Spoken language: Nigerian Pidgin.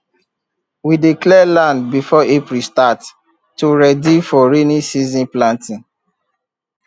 we dey clear land before april start to ready for rainy season planting